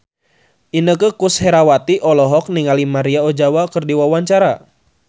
Inneke Koesherawati olohok ningali Maria Ozawa keur diwawancara